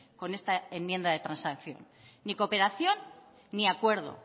con esta enmienda de transacción ni cooperación ni acuerdo